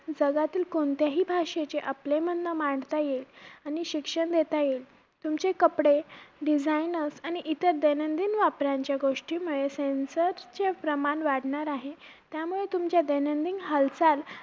आणि परत मग आता गावी जाऊन आलो त्यानंतर परत मग diamond मध्ये गेलो रातला